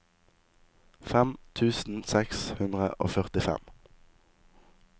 fem tusen seks hundre og førtifem